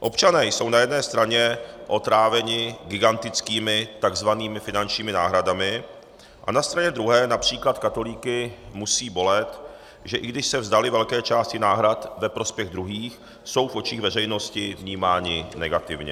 Občané jsou na jedné straně otráveni gigantickými takzvanými finančního náhradami a na straně druhé například katolíky musí bolet, že i když se vzdali velké části náhrad ve prospěch druhých, jsou v očích veřejnosti vnímáni negativně.